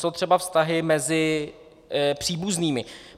Co třeba vztahy mezi příbuznými?